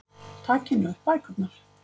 Takið nú upp bækurnar.